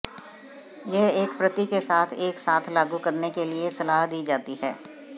यह एक प्रति के साथ एक साथ लागू करने के लिए सलाह दी जाती है